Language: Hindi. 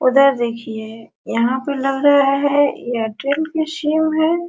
उधर देखिए यहां तो लग रहा है एयरटेल का सिम है।